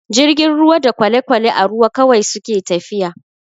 Jirgin ruwa da kwale-kwale a ruwa kawai suke tafiya.